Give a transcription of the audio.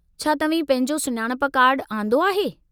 छा तव्हीं पंहिंजो सुञाणप कार्ड आंदो आहे?